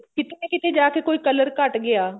ਕਿਤੇ ਨਾ ਕਿਤੇ ਜਾਕੇ ਕੋਈ color ਘੱਟ ਗਿਆ